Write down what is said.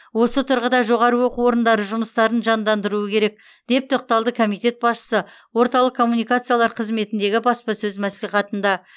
осы тұрғыда жоғары оқу орындары жұмыстарын жандандыруы керек деп тоқталды комитет басшысы орталық коммуникациялар қызметіндегі баспасөз мәслихатында